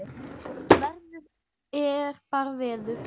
Veður er bara veður.